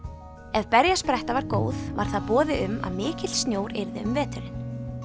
ef berjaspretta var góð var það boði um að mikill snjór yrði um veturinn